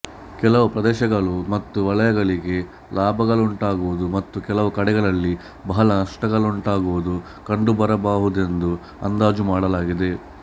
ಕೆಲವು ಪ್ರದೇಶಗಳು ಮತ್ತು ವಲಯಗಳಿಗೆ ಲಾಭಗಳುಂಟಾಗುವುದು ಮತ್ತು ಕೆಲವು ಕಡೆಗಳಲ್ಲಿ ಬಹಳ ನಷ್ಟಗಳುಂಟಾಗುವುದು ಕಂಡುಬರಬಹುದೆಂದು ಅಂದಾಜು ಮಾಡಲಾಗಿದೆ